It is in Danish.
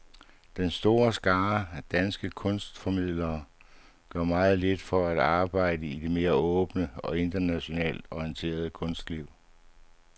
Den store skare af danske kunstformidlere gør meget lidt for at arbejde i det mere åbne og internationalt orienterede kunstliv.